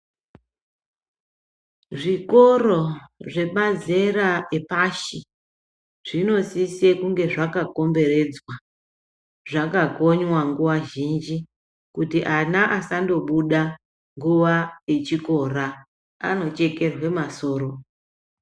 Zvikoro zvemazera epashi zvinosise kunge zvakakomberedzwa zvakakonywa nguva zhinji. Kuti ana asandobuda nguva yechikora anochekerwa masoro.